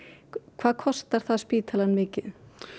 hvað kostar það spítalann mikið